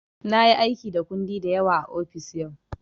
Na yi aiki da kundi da yawa a ofis yau.